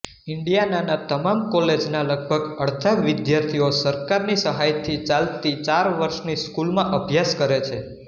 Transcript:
ઇન્ડિયાનાના તમામ કોલેજના લગભગ અડધા વિદ્યાર્થીઓ સરકારની સહાયથી ચાલતી ચાર વર્ષની સ્કૂલમાં અભ્યાસ કરે છે